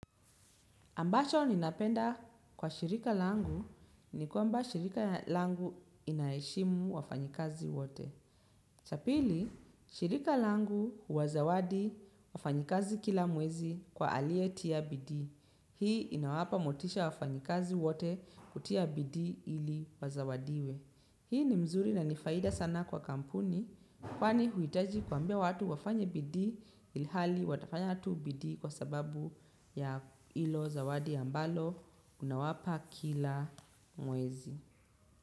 Ambacho ninapenda kwa shirika langu ni kwamba shirika langu inaheshimu wafanyi kazi wote. Cha pili, shirika langu huwazawadi wafanyikazi kila mwezi kwa aliye tia bidii. Hii inawapa motisha wafanyikazi wote kutia bidii ili wazawadiwe. Hii ni mzuri na nifaida sana kwa kampuni kwani huhitaji kuambia watu wafanye bidii ilhali watafanya tu bidii kwa sababu ya ilo zawadi ambalo unawapa kila mwezi.